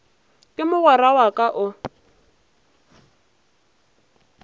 ke mogwera wa ka o